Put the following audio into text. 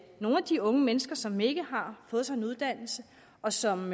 nogle af de unge mennesker som ikke har fået sig en uddannelse og som